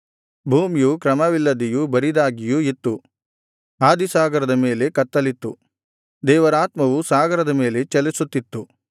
ಭೂಮಿಯು ಕ್ರಮವಿಲ್ಲದೆಯೂ ಬರಿದಾಗಿಯೂ ಇತ್ತು ಆದಿಸಾಗರದ ಮೇಲೆ ಕತ್ತಲಿತ್ತು ದೇವರಾತ್ಮವು ಸಾಗರದ ಮೇಲೆ ಚಲಿಸುತ್ತಿತ್ತು